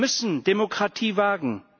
Wir müssen Demokratie wagen!